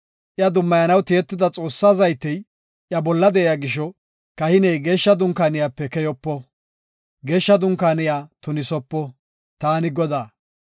Iya dummayanaw tiyida Xoossaa zaytey iya bolla de7iya gisho, kahiney Geeshsha Dunkaaniyape keyopo; Geeshsha Dunkaaniya tunisopo. Taani Godaa.